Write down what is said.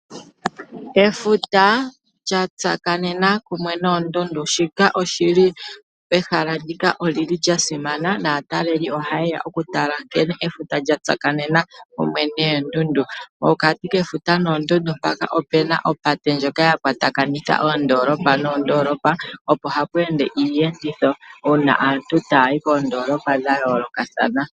Efuta lya tsakanena kumwe noondundu. Shika oshi li pehala ndika oli li lya simana naatalelipo ohaye ya okutala nkene efuta lya tsakanena kumwe noondundu. Nopokati kefuta noondundu mpaka opu na opate ndjoka ya kwatakanitha oondoolopa noondoolopa, opo hapu ende iiyenditho uuna aantu taya yi koondoolopa dha yoolokathana.